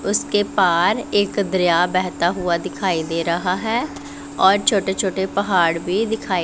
उसके पार एक दरिया बहता हुआ दिखाई दे रहा है और छोटे छोटे पहाड़ भी दिखाई--